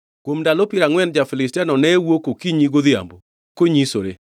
Kuom ndalo piero angʼwen ja-Filistiano ne wuok okinyi godhiambo konyisore.